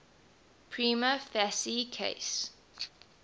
prima facie case